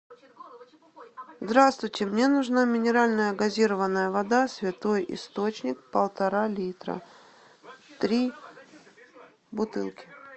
здравствуйте мне нужна минеральная газированная вода святой источник полтора литра три бутылки